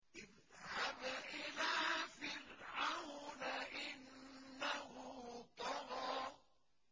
اذْهَبْ إِلَىٰ فِرْعَوْنَ إِنَّهُ طَغَىٰ